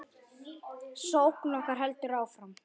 Sókn okkar heldur áfram.